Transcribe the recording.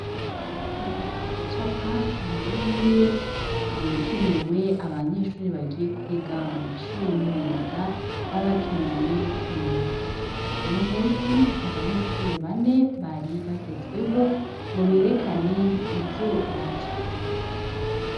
Kumenya gucapa ni bimwe mu bikenewe abanyeshuriri bagiye kwiga mu mashuri y'imyuga babakeneye kumenya muno musi niabanyeshuriri bane baribagezweho ngo berekane ivyo bacafye.